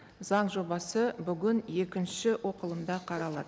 заң жобасы бүгін екінші оқылымда қаралады